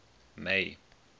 may